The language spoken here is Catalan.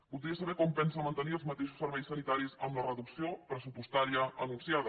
voldria saber com pensa mantenir els mateixos serveis sanitaris amb la reducció pressupostària anunciada